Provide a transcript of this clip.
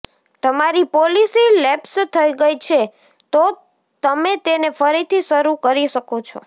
તમારી policy lapse થઈ ગઈ છે તો તમે તેને ફરીથી શરૂ કરી શકો છો